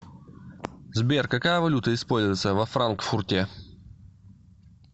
сбер какая валюта используется во франкфурте